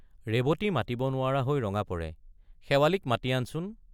ৰেৱতী মাতিব নোৱাৰা হৈ ৰঙা পৰে শেৱালিক মাতি আনচোন।